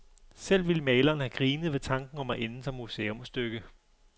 Selv ville maleren have grinet ved tanken om at ende som museumsstykke.